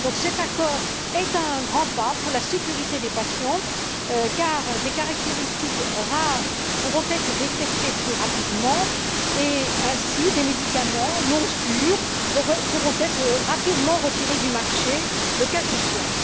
Cet accord est donc un grand pas pour la sécurité des patients, car des caractéristiques rares pourront être détectées plus rapidement et des médicaments non sûrs pourront ainsi être rapidement retirés du marché, le cas échéant.